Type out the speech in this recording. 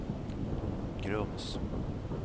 Grums